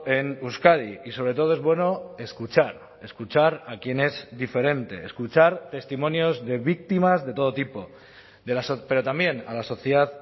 en euskadi y sobre todo es bueno escuchar escuchar a quien es diferente escuchar testimonios de víctimas de todo tipo pero también a la sociedad